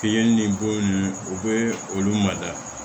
Fini ni bo nunnu u bɛ olu mada